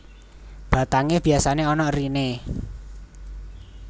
Batangé biasané ana eriné